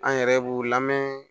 An yɛrɛ b'u lamɛn